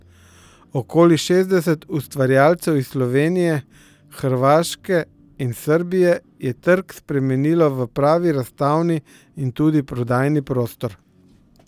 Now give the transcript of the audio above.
Okoli šestdeset ustvarjalcev iz Slovenije, Hrvaške in Srbije je trg spremenilo v pravi razstavni in tudi prodajni prostor.